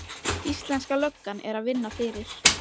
Íslenska löggan er að vinna fyrir